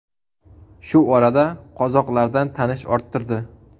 Shu orada qozoqlardan tanish orttirdi.